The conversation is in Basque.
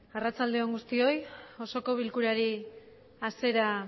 arratsalde on guztioi osoko bilkurari asiera